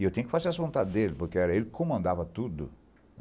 E eu tinha que fazer as vontades dele, porque era ele que comandava tudo.